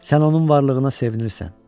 Sən onun varlığına sevinirsən.